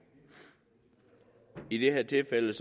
i det her tilfælde